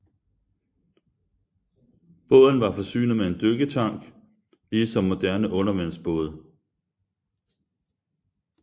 Båden var forsynet med en dykketank lige som moderne undervandsbåde